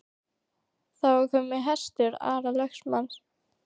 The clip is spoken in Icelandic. Þar var kominn hestur Ara lögmanns.